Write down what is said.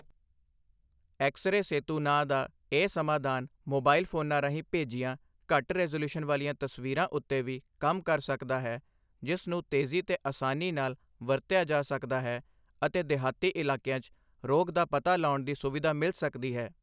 X-ray Setu ਨਾਂਅ ਦਾ ਇਹ ਸਮਾਧਾਨ ਮੋਬਾਇਲ ਫ਼ੋਨਾਂ ਰਾਹੀਂ ਭੇਜੀਆਂ ਘੱਟ ਰੈਜ਼ੋਲਿਯੂਸ਼ਨ ਵਾਲੀਆਂ ਤਸਵੀਰਾਂ ਉੱਤੇ ਵੀ ਕੰਮ ਕਰ ਸਕਦਾ ਹੈ, ਜਿਸ ਨੂੰ ਤੇਜ਼ੀ ਤੇ ਆਸਾਨੀ ਨਾਲ ਵਰਤਿਆ ਜਾ ਸਕਦਾ ਹੈ ਅਤੇ ਦਿਹਾਤੀ ਇਲਾਕਿਆਂ 'ਚ ਰੋਗ ਦਾ ਪਤਾ ਲਾਉਣ ਦੀ ਸੁਵਿਧਾ ਮਿਲ ਸਕਦੀ ਹੈ।